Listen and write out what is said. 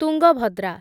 Tungabhadra